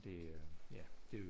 Det er jo ja det